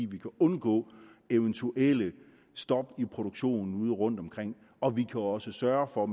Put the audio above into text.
vi kan undgå eventuelle stop i produktionen ude rundtomkring og vi også sørge for